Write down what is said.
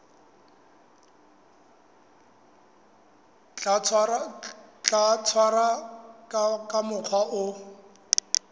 tla tshwarwa ka mokgwa o